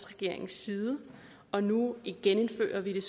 regeringens side og nu genindfører vi det